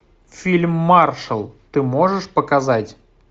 фильм маршал ты можешь показать